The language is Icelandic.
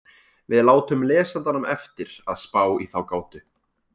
Við látum lesandanum eftir að spá í þá gátu.